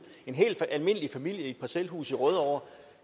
en helt almindelig familie i et parcelhus i rødovre